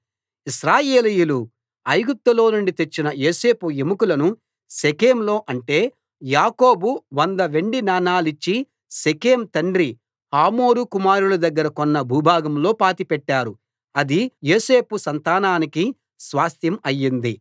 ఇశ్రాయేలీయులు ఐగుప్తులోనుండి తెచ్చిన యోసేపు ఎముకలను షెకెంలో అంటే యాకోబు వంద వెండి నాణేలిచ్చి షెకెం తండ్రి హమోరు కుమారుల దగ్గర కొన్న భూభాగంలో పాతిపెట్టారు అది యోసేపు సంతానానికి స్వాస్థ్యం అయింది